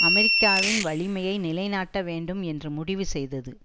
அமெரிக்காவின் வலிமையை நிலைநாட்ட வேண்டும் என்று முடிவு செய்தது